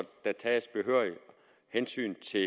der tages behørigt hensyn til